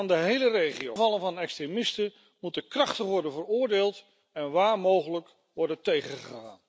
De aanvallen van extremisten moeten krachtig worden veroordeeld en waar mogelijk worden tegengegaan.